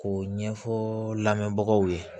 K'o ɲɛfɔ lamɛnbagaw ye